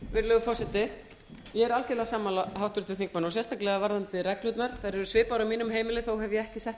virðulegur forseti ég er algjörlega sammála háttvirtum þingmanni og sérstaklega varðandi reglurnar þær eru svipaðar á mínu heimili þó hef ég ekki sett